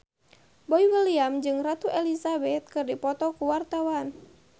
Boy William jeung Ratu Elizabeth keur dipoto ku wartawan